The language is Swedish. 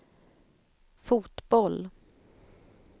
fotboll